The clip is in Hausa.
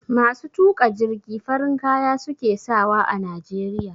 Masu tuƙa jirgi farin kaya suke sawa a najeriya